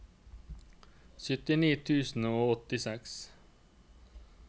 syttini tusen og åttiseks